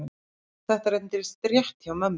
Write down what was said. Þetta reyndist rétt hjá mömmu.